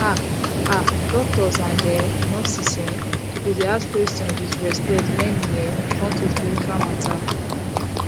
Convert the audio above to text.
ah ah doctors and um nurses um suppose dey ask questions with respect wen e um come to spiritual matter